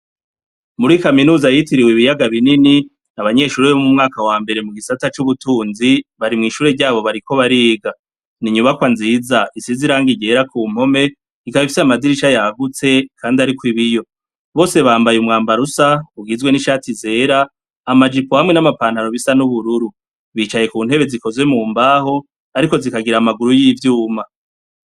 Muri kaminuza yitiriwe ibiyaga binini, abanyeshure bo mu mwaka wa mbere mu gisata c'ubutunzi, bari mwishure ryabo bariko bariga. Ni inyubakwa nziza isize irangi ryera ku mpome, ikaba ifise amadirisha yagutse Kandi ariko ibiyo. Bose bambaye umwambaro usa ugizwe n'ishati zera, amajipo hamwe n'amapantaro bisa n'ubururu. Bicaye ku ntebe zikoze mu mbaho, ariko zikagira amaguru vy'ivyuma.